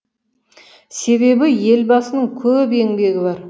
себебі елбасының көп еңбегі бар